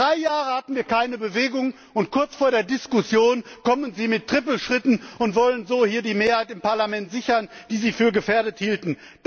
Drei Jahre hatten wir keine Bewegung, und kurz vor der Diskussion kommen Sie mit Trippelschritten und wollen so die Mehrheit hier im Parlament sichern, die Sie für gefährdet hielten.